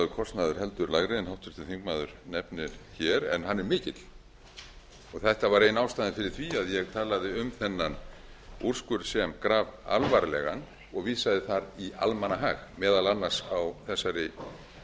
kostnaður heldur lægri en háttvirtur þingmaður nefnir en hann er mikill og þetta var ein ástæðan fyrir því að ég talaði um þennan úrskurð sem grafalvarlegan og vísaði þar í almannahag meðal annars á